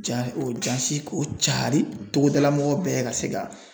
Ja o ja se k'o cari togodala mɔgɔw bɛɛ ka se ka